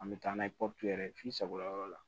An bɛ taa n'a ye pɔpu yɛrɛ ye f'i sagoya yɔrɔ la